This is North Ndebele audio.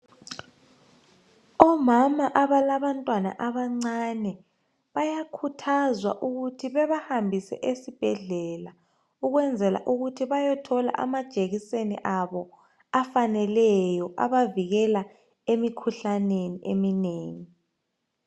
Omama abalabantwana abancane bayakhuthazwa ukuthi bebahambise esibhedlela ukwenzela ukuthi bayothola amajekiseni abo afaneleyo abavikela emikhuhlaneni eminengi.